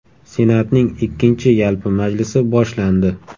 Senatning ikkinchi yalpi majlisi boshlandi.